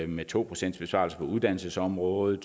med to procent besparelse på uddannelsesområdet